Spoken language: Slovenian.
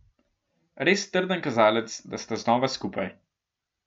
Res trden kazalec, da sta znova skupaj.